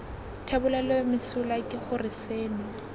thebolelo mesola ke gore seno